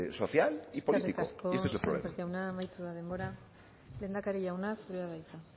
social y político y este es el problema eskerrik asko sémper jauna amaitu da denbora lehendakari jauna zurea da hitza